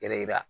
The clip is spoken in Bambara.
Yɛrɛ yira